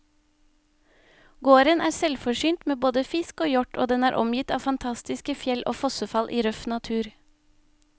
Gården er selvforsynt med både fisk og hjort, og den er omgitt av fantastiske fjell og fossefall i røff natur.